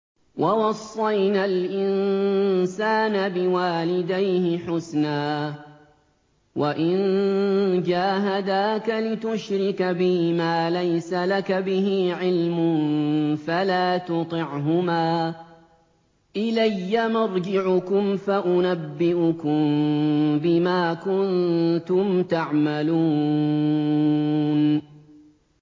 وَوَصَّيْنَا الْإِنسَانَ بِوَالِدَيْهِ حُسْنًا ۖ وَإِن جَاهَدَاكَ لِتُشْرِكَ بِي مَا لَيْسَ لَكَ بِهِ عِلْمٌ فَلَا تُطِعْهُمَا ۚ إِلَيَّ مَرْجِعُكُمْ فَأُنَبِّئُكُم بِمَا كُنتُمْ تَعْمَلُونَ